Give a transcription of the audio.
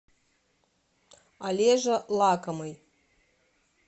олежа лакомый